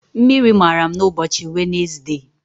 Mmiri mara m ụbọchị Wenesde.